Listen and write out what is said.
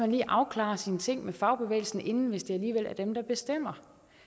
lige afklarede sine ting med fagbevægelsen inden hvis det alligevel er dem der bestemmer